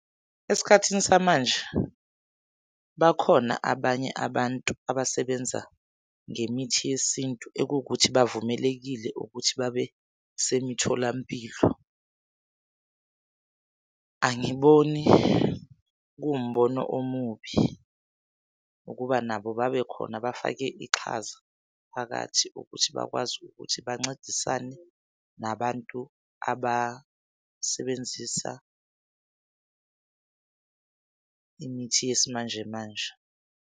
Esikhathini samanje bakhona abanye abantu abasebenza ngemithi yesintu ekuwukuthi bavumelekile ukuthi babesemitholampilo. Angiboni kuwumbono omubi ukuba nabo babekhona bafake iqhaza phakathi ukuthi bakwazi ukuthi bancedisane nabantu abasebenzisa imithi yesimanjemanje.